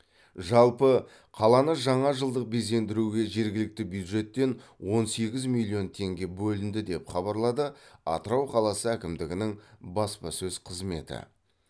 жалпы қаланы жаңа жылдық безендіруге жергілікті бюджеттен он сегіз миллион теңге бөлінді деп хабарлады атырау қаласы әкімдігінің баспасөз қызметі